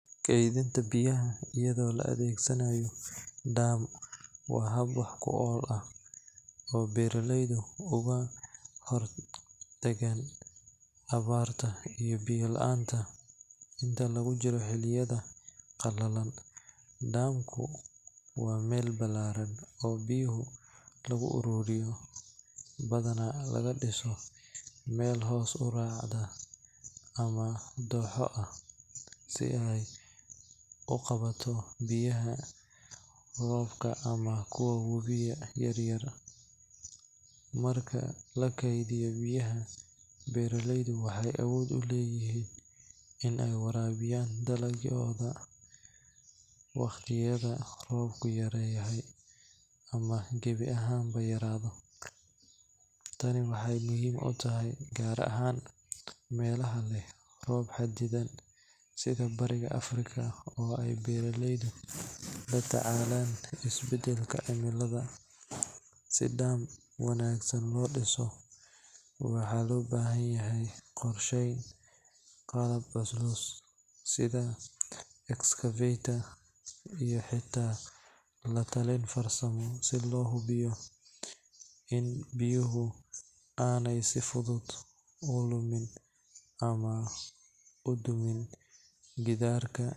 Keedinta biyaha ayado la adeegsanaayo dam waa hab fican ayado beeraleyda hor dagan awaarta iyo biya laanta, waa meel balaaran oo biyaha lagu aruuriyo, marka lakediyo biyaha Beeraleyda waxeey warabiyan dalagooda marka roobka yaraado, si dam wanagsan loo diso waxaa loo bahan yahay iskashin iyo qalab muhiim ah sida excavator si biyuhu si fudud udumin.